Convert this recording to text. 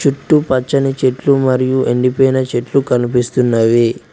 ఇటు పచ్చని చెట్లు మరియు ఎండిపోయిన చెట్లు కనిపిస్తున్నవి.